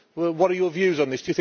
What are your views on this?